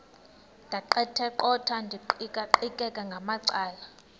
ndaqetheqotha ndiqikaqikeka ngamacala